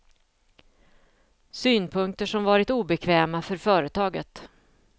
Synpunkter som varit obekväma för företaget.